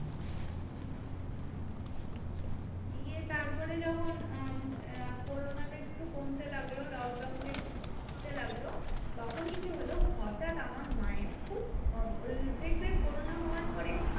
দিয়ে তারপরে যখন উম আহ corona টা একটু কমতে লাগলো, lockdown টা লাগলো, তখন কি হলো? হটাৎ আমার মায়ের খুব দেখবে corona হওয়ার পরে